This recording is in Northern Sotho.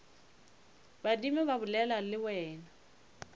badimo ba bolela le wena